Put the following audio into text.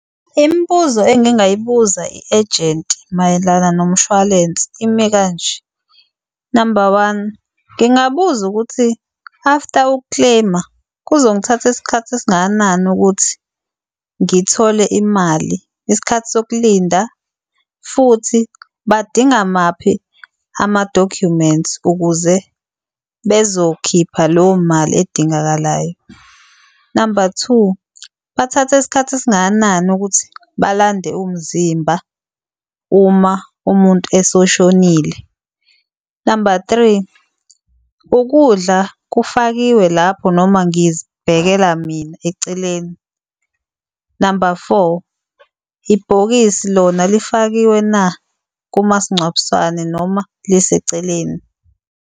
Imibuzo engingayibuza i-ejenti mayelana nomshwalense imi kanje, namba one, ngingabuza ukuthi after uku-claim-a kuzongithatha isikhathi esingakanani ukuthi ngithole imali, isikhathi sokulinda futhi badinga maphi ama-documents ukuze bezokhipha leyo mali edingakalayo. Namba two, bathatha isikhathi esingakanani ukuthi balande umzimba uma umuntu esoshonile. Namba three, ukudla kufakiwe lapho noma ngizibhekela mina eceleni. Namba four, ibhokisi lona lifakiwe na kumasingcwabisane noma liseceleni.